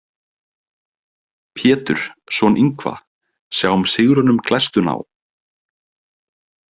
Pétur, son Yngva, sjáum sigrunum glæstu ná.